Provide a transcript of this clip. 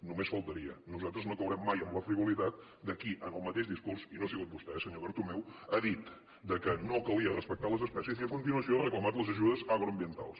només faltaria nosaltres no caurem mai en la frivolitat de qui amb el mateix discurs i no ha sigut vostè senyor bertomeu ha dit que no calia respectar les espècies i a continuació ha reclamat les ajudes agroambientals